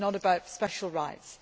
It is not about special rights